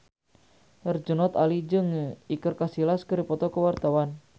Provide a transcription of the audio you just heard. Herjunot Ali jeung Iker Casillas keur dipoto ku wartawan